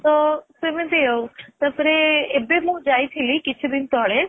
ତ ସେମିତି ଆଉ. ତା ପରେ ଏବେ ମୁ ଯାଇ ଥିଲି କିଛି ଦିନ ତଳେ